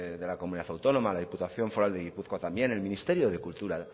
de la comunidad autónoma la diputación foral de gipuzkoa también el ministerio de cultura